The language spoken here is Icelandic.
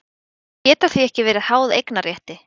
Þau geta því ekki verið háð eignarrétti.